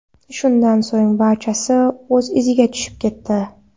Shundan so‘ng barchasi o‘z iziga tushib ketdi.